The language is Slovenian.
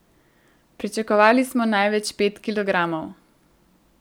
Pričakovali smo največ pet kilogramov.